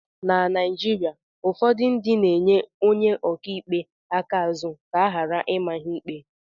Na Naijirịa, ụfọdụ ndị na-enye Onye ọka ikpe aka azụ ka a ghara ịma ha ikpe